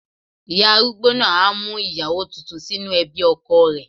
Ìyá arúgbó náà á mú ìyàwó tuntun sínú ẹbí ọkọ rẹ̀.